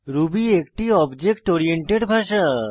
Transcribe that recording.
Ruby একটি object oriented ভাষা